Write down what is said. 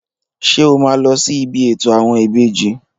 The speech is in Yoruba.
Ṣé o máa lọ sí ibi ètò àwọn ìbejì?